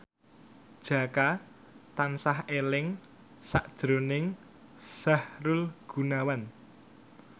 Jaka tansah eling sakjroning Sahrul Gunawan